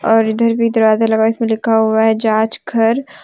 और इधर भी दरवाजा लगा हुआ है इसमें लिखा हुआ है जांच घर।